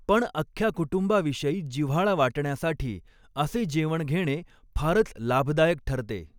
पण अख्ख्या कुटुंबाविषयी जिव्हाळा वाटण्यासाठी असे जेवण घेणे फारच लाभदायक ठरते.